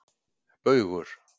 Baugur